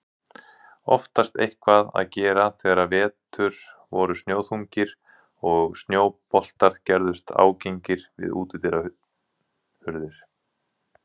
Oftast eitthvað að gera þegar vetur voru snjóþungir og snjóboltar gerðust ágengir við útidyrahurðir.